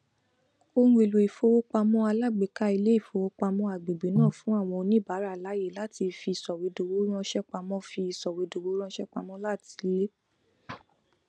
ohunèlò ìfowópamọ alágbèéká ilé ìfowópamọ agbègbè náà fún àwọn oníbàárà láàyè láti fi sọwédowó ránṣẹpamọ fi sọwédowó ránṣẹpamọ láti ilé